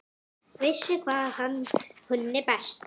Vissi hvað hann kunni best.